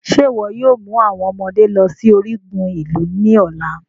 Ṣe iwọ yoo mu awọn ọmọde lọ si origun ilu ni ọla?